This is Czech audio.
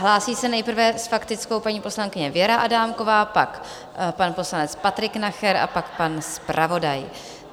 Hlásí se nejprve s faktickou paní poslankyně Věra Adámková, pak pan poslanec Patrik Nacher a pak pan zpravodaj.